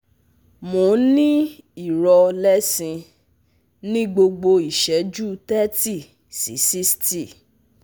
Mò ń ní irọ lẹ́sin ní gbogbo ìṣẹ́jú thirty si sixty